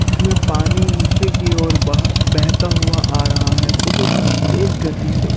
इसमें पानी नीचे की ओर बह बेहता हुआ आ रहा है बहुत ही तेज गति से--